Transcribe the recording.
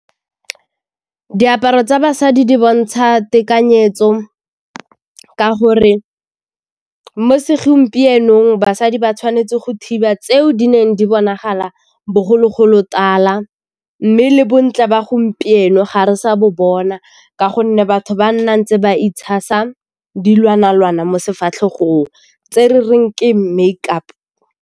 Diaparo tsa basadi di bontsha tekanyetso ka gore mo segompienong basadi ba tshwanetse go thiba tseo di neng di bonagala bogologolotala, mme le bontle ba gompieno ga re sa bo bona ka gonne batho ba nna ntse ba itshasa dilwana-lwana mo sefatlhego tse re reng ke make-up.